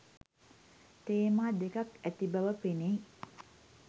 තේමා දෙකක් ඇති බව පෙනෙයි.